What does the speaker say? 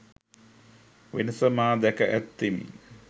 වෙනස මා දැක ඇත්තෙමි